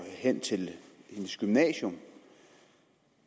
hen til sit gymnasium